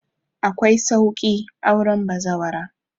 Akwai sauƙi auren bazawara